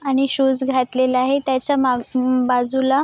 आणि शूज घातलेला आहे त्याच्या माग बाजूला--